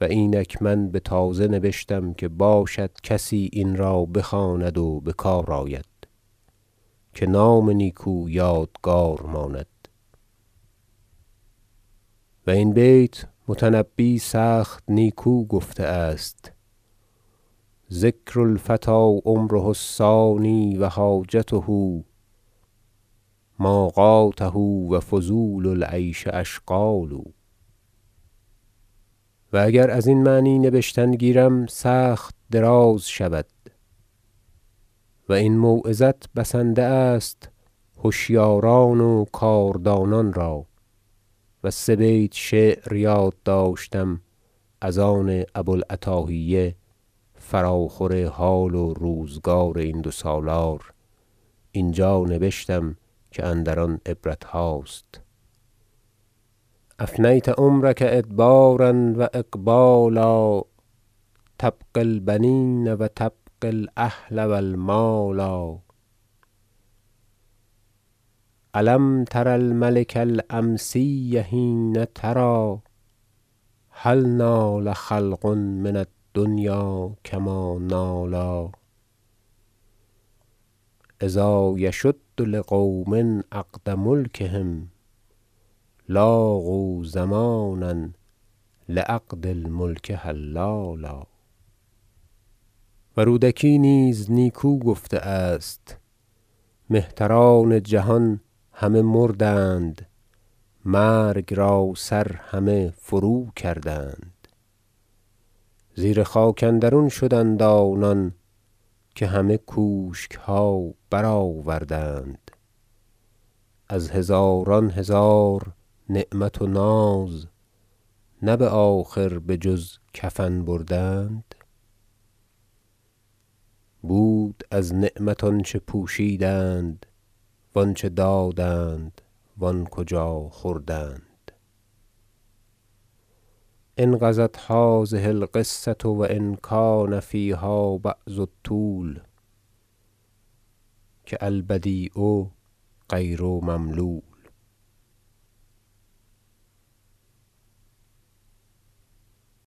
و اینک من بتازه نبشتم که باشد کسی این را بخواند و بکار آید که نام نیکو یادگار ماند و این بیت متنبی سخت نیکو گفته است شعر ذکر الفتی عمره الثانی و حاجته ماقاته و فضول العیش اشغال و اگر ازین معنی نبشتن گیرم سخت دراز شود و این موعظت بسنده است هشیاران و کاردانان را و سه بیت شعر یاد داشتم از آن ابو العتاهیه فراخور حال و روزگار این دو سالار اینجا نبشتم که اندر آن عبرتهاست شعر افنیت عمرک ادبار و اقبالا تبغی البنین و تبغی الاهل و المالا الم تر الملک الامسی حین تری هل نال خلق من الدنیا کما نالا اذا یشد لقوم عقد ملکهم لاقوا زمانا لعقد الملک حلالا و رودکی نیز نیکو گفته است شعر مهتران جهان همه مردند مرگ را سر همه فروکردند زیر خاک اندرون شدند آنان که همه کوشکها برآوردند از هزاران هزار نعمت و ناز نه بآخر بجز کفن بردند بود از نعمت آنچه پوشیدند و انچه دادند و آن کجا خوردند انقضت هذه القصة و ان کان فیها بعض الطول که البدیع غیر مملول